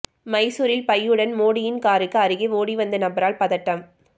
மைசூரில் பையுடன் மோடியின் காருக்கு அருகே ஓடி வந்த நபரால் பதட்டம்